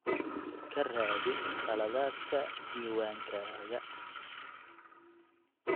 Ka raadi khaladaadka diiwaankaaga.